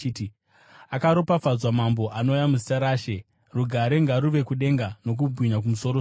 “Akaropafadzwa mambo anouya muzita raShe!” “Rugare ngaruve kudenga, nokubwinya kumusoro-soro!”